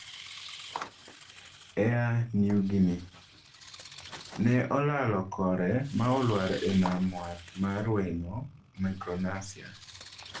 Air Niugini:Ne olalo kore ma olwar e nam wath mar Weno Micronasia